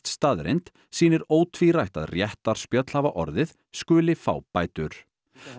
staðreynd sýnir ótvírætt að réttarspjöll hafa orðið skuli fá bætur